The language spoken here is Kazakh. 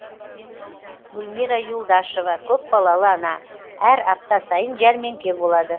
гүлмира юлдашева көпбалалы ана әр апта сайын жәрмеңке болады